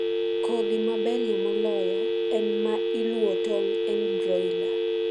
Kodhi maberie moloyo en ma iluo tong' en broiler.